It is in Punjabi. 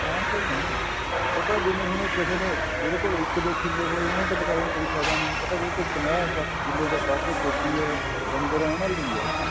ਆਮ ਲਈ ਨੀ ਜਿਵੇਂ ਉਹ ਤਾਂ ਹੁਣ ਜਿਹਦੇ ਕੋਲ ਇੱਕ ਦੋ ਕਿੱਲੇ ਹ੍ਪੇ ਉਹਨੂੰ ਤਾਂ ਕੋਈ ਫਾਇਦਾ ਨੀ ਉਹ ਤਾਂ ਜਿਹਦੇ ਕੋਲ ਪੰਜਾਹ ਸੱਠ ਕਿੱਲੇ ਜਾਂ ਵੱਧ ਖੇਤੀ ਹੈ ਡੰਗਰ ਹੈ ਉਹਨਾ ਲਈ ਹੈ ਉਹ ਤਾਂ